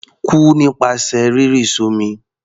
Kú nípasẹ̀ rírì s'ọ́mi!